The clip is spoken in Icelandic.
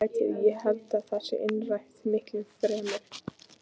Innrætið, ég held að það sé innrætið miklu fremur.